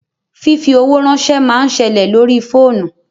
Fífi owó ránsẹ́ máa ń ṣẹlẹ̀ lórí fóònù